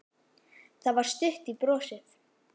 Það var stutt í brosið.